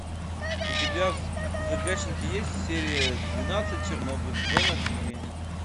у тебя в загашнике есть серия двенадцать чернобыль зона отчуждения